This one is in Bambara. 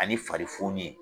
Ani fari foni ye.